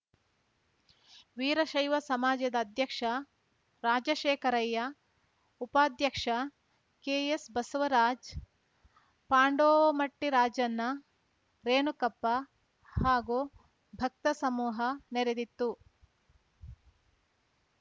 ವೀರಶೈವ ಸಮಾಜದ ಅಧ್ಯಕ್ಷ ರಾಜಶೇಖರಯ್ಯ ಉಪಾಧ್ಯಕ ಕೆಎಸ್‌ಬಸವರಾಜ್‌ ಪಾಂಡೋಮಟ್ಟಿರಾಜಣ್ಣ ರೇಣುಕಪ್ಪ ಹಾಗೂ ಭಕ್ತ ಸಮೂಹ ನೆರೆದಿತ್ತು